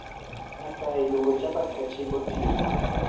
asayi luongo chapat ka chiemb otieno